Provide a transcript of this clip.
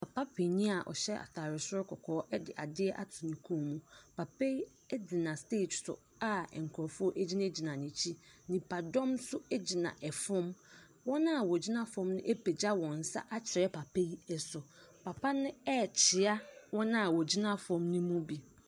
Papa panin a ɔhyɛ atare soro kɔkɔɔ de adeɛ ato ne kɔn mu. Papa yi gyina stage so a nkurɔfoɔ gyinagyina n'akyi. Nnipadɔm nso gyina fam. Wɔn a wɔgyina fam no apagya wɔ nsa akyerɛ papa yi so. Papa no rekyea wɔn a wɔgyina fam no mu bi.